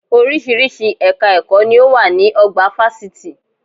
Orísìírísìí ẹ̀ka ẹ̀kọ́ ni ó wà ní ọgbà fásitì